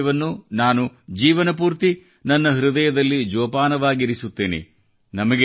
ಈ ವಿಷಯವನ್ನು ನಾನು ಜೀವನಪೂರ್ತಿ ನನ್ನ ಹೃದಯದಲ್ಲಿ ಜೋಪಾನವಾಗಿರಿಸುತ್ತೇನೆ